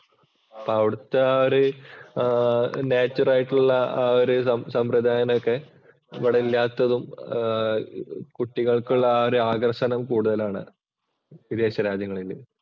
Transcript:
അപ്പൊ അവിടുത്തെ ഒരു നേച്ചര്‍ ആയിട്ടുള്ള ആ ഒരു സമ്പ്രദായം ഒക്കെ ഇവിടെ ഇല്ലാത്തതും കുട്ടികള്‍ക്കുള്ള ആ ഒരു ആകര്‍ഷണം കൂടുതലാണ് വിദേശ രാജ്യങ്ങളില്.